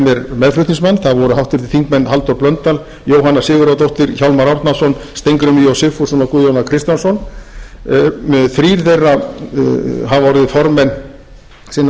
meðflutningsmenn það voru háttvirtur þingmaður halldór blöndal jóhanna sigurðardóttir hjálmar árnason steingrímur j sigfússon og guðjón a kristjánsson þrír þeirra hafa orðið formenn sinna